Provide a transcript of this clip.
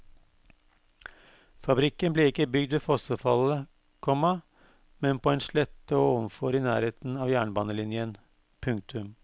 Fabrikken ble ikke bygd ved fossefallet, komma men på en slette ovenfor i nærheten av jernbanelinjen. punktum